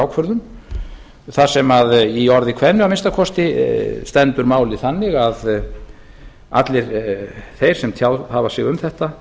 grundvallarákvörðun þar sem í orði kveðnu að minnsta kosti stendur málið þannig að allir þeir sem tjáð hafa sig um þetta